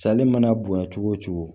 Sali mana bonya cogo o cogo